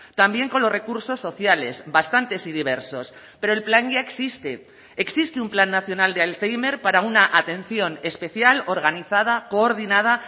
también con los recursos sociales bastantes y diversos pero el plan ya existe existe un plan nacional de alzhéimer para una atención especial organizada coordinada